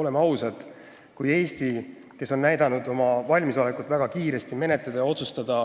Oleme ausad, kui juba Eesti, kes on näidanud oma valmisolekut väga kiiresti asju menetleda ja otsustada,